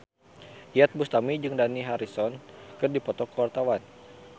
Iyeth Bustami jeung Dani Harrison keur dipoto ku wartawan